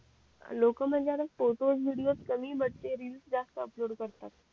लोक म्हणजे आता फोटो व्हिडिओस कमी बॅट ते रील्स जास्त अपलोड करतात